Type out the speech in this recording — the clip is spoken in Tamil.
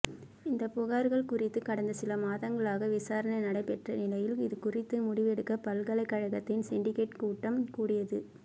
இந்த புகார்கள் குறித்து கடந்த சில மாதங்களாக விசாரணை நடைபெற்ற நிலையில் இதுகுறித்து முடிவெடுக்க பல்கலைக்கழகத்தின் சிண்டிகேட் கூட்டம் கூடியது